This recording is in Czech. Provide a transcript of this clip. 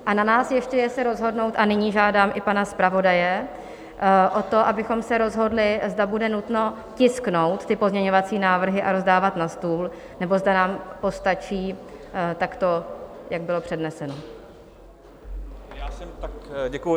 A na nás ještě je se rozhodnout, a nyní žádám i pana zpravodaje o to, abychom se rozhodli, zda bude nutno tisknout ty pozměňovací návrhy a rozdávat na stůl, nebo zda nám postačí takto, jak bylo předneseno.